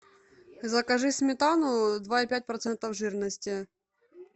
закажи сметану два и пять процентов жирности